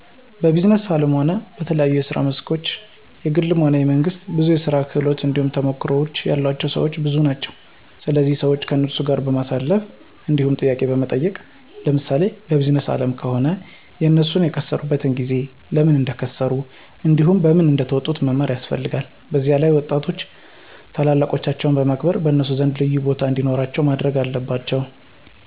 በቢዝነስ አለምም ሆነ በተለያየ የስራ መስኮች የግልም ሆነ የመንግስት ብዙ የስራ ክህሎት እንዲሁም ተሞክሮ ያላቸው ሰወች ብዙ ናቸው ስለዚህ ሰዋች ከነሱ ጋር በማሳለፍ እንዲሁም ጥያቄዎችን በመጠየቅ ለምሳሌ በቢዝነስ አለም ከሆነ የነሱን የከሰሩበትን ጊዜ፣ ለምን እንደከሰሩ እንዲሁም በምን እንደተወጡት መማር ያስፈለልጋል። በዚላይም ወጣቶች ታላላቆቻቸውን በማክበር በነሱ ዘንድ ልዩቦታ እንዲኖራቸው ማድረግ አለባቸው።